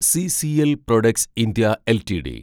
CCL products (ഇന്ത്യ) LTD